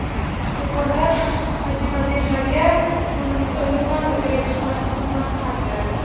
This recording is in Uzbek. Shifokorlar Fatimazehraga kunduzi umuman ko‘chaga chiqmaslikni maslahat beradi.